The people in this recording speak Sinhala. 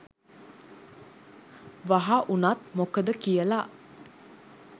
වහ උනත් මොකද කියල.